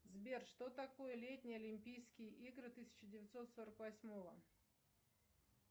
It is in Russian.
сбер что такое летние олимпийские игры тысяча девятьсот сорок восьмого